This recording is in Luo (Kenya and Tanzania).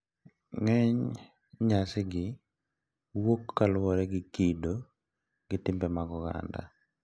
Ng`eny nyasigi wuok kaluwore gi kido gi timbe mag oganda.